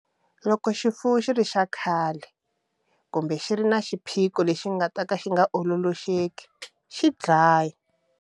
Loko xifuwo xi ri xa khale, kumbe ku ri na xiphico lexi nga ta ka xi nga ololoxeki, xi dlayi.